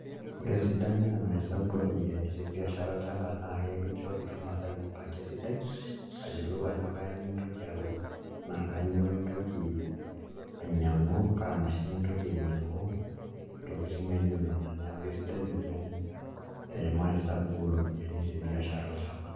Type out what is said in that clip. Ore esidano emaesababu ooropiyiani te biashara olchamba naa kincho ilo aijipanga esidai ayiolou ajo kainyioo intoki aaun naa kainyioo intoki ainyiang'u, kaa mashini intoki ainyiang'u ntokitin naa ijio nena neeku kesidai oleng' ee maesabu ooropiyiani te biashara olchamba.